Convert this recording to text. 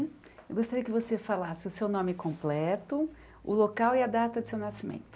Eu gostaria que você falasse o seu nome completo, o local e a data de seu nascimento.